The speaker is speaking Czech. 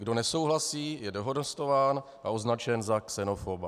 Kdo nesouhlasí, je dehonestován a označen za xenofoba.